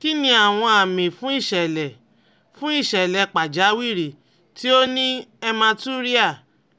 Kí ni àwọn àmì fún ìṣẹ̀lẹ̀ fún ìṣẹ̀lẹ̀ pàjáwìrì tí ó ní hematuria